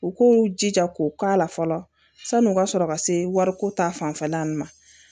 U k'u jija k'u k'a la fɔlɔ san'u ka sɔrɔ ka se wariko ta fanfɛla nunnu ma